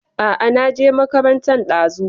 A a, na je makarantan ɗazu.